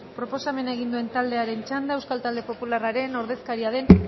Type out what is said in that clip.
proposamena egin du taldearen txanda euskal talde popularraren ordezkaria den